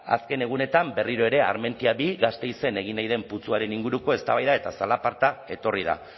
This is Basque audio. azken egunetan berriro ere armentia bigarren gasteizen egin nahi den putzuaren inguruko eztabaida eta zalaparta etorri da